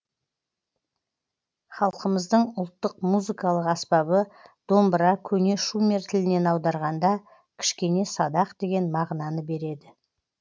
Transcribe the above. халқымыздың ұлттық музыкалық аспабы домбыра көне шумер тілінен аударғанда кішкене садақ деген мағынаны береді